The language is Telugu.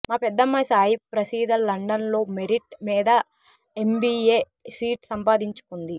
మా పెద్దమ్మాయి సాయిప్రసీద లండన్లో మెరిట్ మీద ఎంబీఏ సీట్ సంపాదించుకుంది